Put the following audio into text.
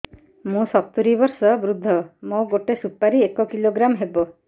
ମୁଁ ସତୂରୀ ବର୍ଷ ବୃଦ୍ଧ ମୋ ଗୋଟେ ସୁପାରି ଏକ କିଲୋଗ୍ରାମ ହେବ